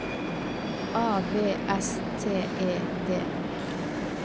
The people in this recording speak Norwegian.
A V S T E D